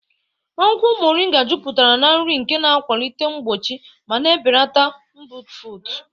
Akwukwo Moringa juputara na nri nke na-akwalite mgbochi ma na-ebelata mbufụt.